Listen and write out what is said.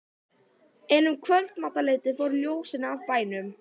En um kvöldmatarleytið fóru ljósin af bænum.